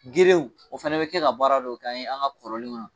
Gerew o fana bɛ kɛ ka baara dɔ k'an ye an ka kɔrɔlenw .